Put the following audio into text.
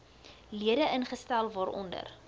lede ingestel waaronder